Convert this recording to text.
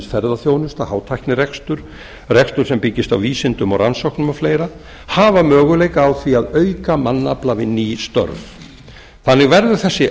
ferðaþjónusta hátæknirekstur rekstur sem byggist á vísindum og rannsóknum og fleiri hafa möguleika á því að auka mannafla við ný störf þannig verður þessi